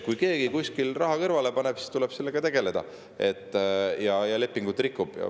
Kui keegi kuskil raha kõrvale paneb ja lepingut rikub, siis tuleb sellega tegeleda.